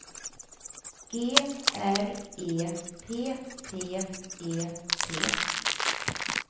G R E P P E T